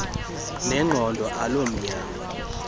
nengqondo aloo mnyangwa